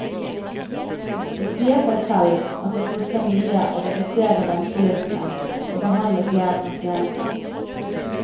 Det sier seg selv at det koster mye å redusere ventelistene og behandle flere pasienter.